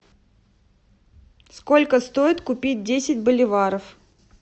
сколько стоит купить десять боливаров